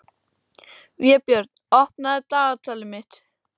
Vébjörn, opnaðu dagatalið mitt.